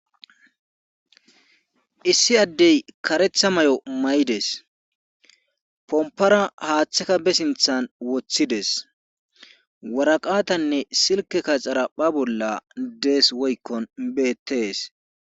Issi addey karetha may'o may'ides pompora haaththeka besinthan woththides waraqatanne silke ka xara pha bolla dees woykkon beettees.